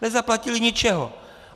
Nezaplatili ničeho!